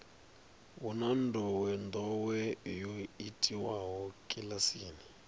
hu na ndowendowe yo itiwaho kilasini